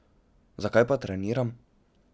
Zakaj pa treniram?